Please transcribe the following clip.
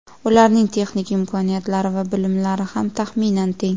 Ularning texnik imkoniyatlari va bilimlari ham taxminan teng.